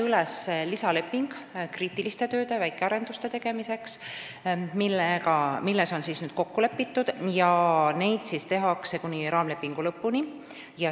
Üles jäi lisaleping kriitiliste tööde, väikearenduste tegemiseks, milles on nüüdseks kokku lepitud: neid tehakse raamlepingu lõpuni.